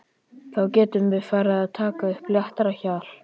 Þá getum við farið að taka upp léttara hjal!